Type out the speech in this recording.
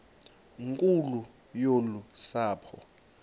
nkulu yolu sapho